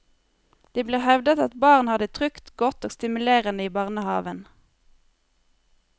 Det blir hevdet at barn har det trygt, godt og stimulerende i barnehaven.